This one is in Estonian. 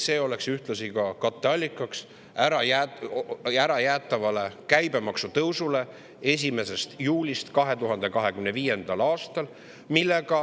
See oleks ühtlasi katteallikaks ärajäetavale käibemaksu tõusule 1. juulist 2025. aastal.